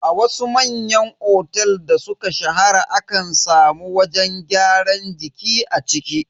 A wasu manyan otel da suka shahara akan samu wajen gyaran jiki a ciki.